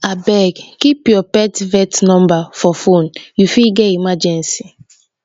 abeg keep your pet vet number for phone you fit get emergency